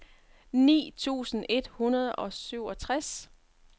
ni tusind et hundrede og syvogtres